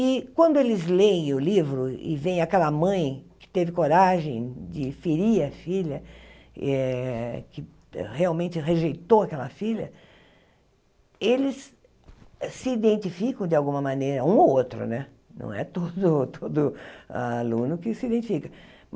E quando eles lêem o livro e vêem aquela mãe que teve coragem de ferir a filha eh, que realmente rejeitou aquela filha, eles se identificam de alguma maneira, um ou outro né, não é todo todo aluno que se identifica.